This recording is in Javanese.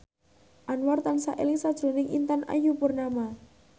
Anwar tansah eling sakjroning Intan Ayu Purnama